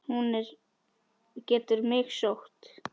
Hún getur mig sótt.